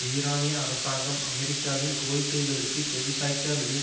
ஈரானிய அரசாங்கம் அமெரிக்காவின் கோரிக்கைகளுக்கு செவிசாய்க்காவிடின்